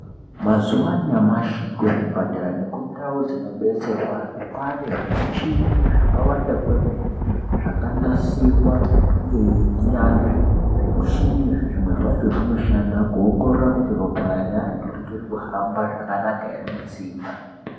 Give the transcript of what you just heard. Mazuwa anyamashi kuzvipatara nekundau dzinobetserwa antu kwane zvimuchini zvakawanda kwemene zvakanasirwa ngenyanzvi. Zvimushini izvi zvimwe zvacho zvinoshanda kuongorora kuti ropa reantu richiri kuhamba zvakanaka ere mutsinga.